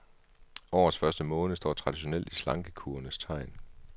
Årets første måned står traditionelt i slankekurenes tegn.